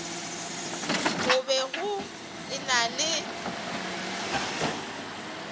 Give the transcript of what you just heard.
go be go ena le